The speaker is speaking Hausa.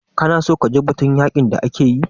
Ka na so kaji batun yaƙin da ake yi?